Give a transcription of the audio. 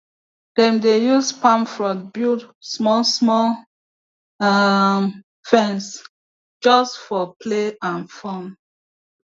dem dey use palm frond build small small um fence just for play and fun